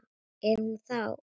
Er hún þá.